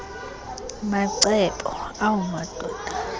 macebo awu madoda